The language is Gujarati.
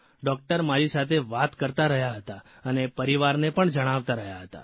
ડૉકટર મારી સાથે વાત કરતા રહ્યા હતા અને પરિવારને પણ જણાવતા રહ્યા હતા